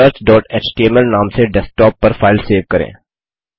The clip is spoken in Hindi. searchएचटीएमएल नाम से डेस्कटॉप पर फाइल सेव करें